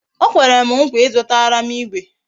O kwere m nkwa Ị zụtara m igwe